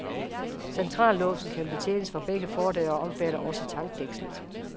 Centrallåsen kan betjenes fra begge fordøre og omfatter også tankdækslet.